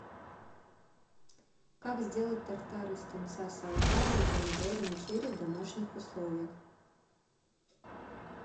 как сделать тартар из тунца с авокадо и помидорами черри в домашних условиях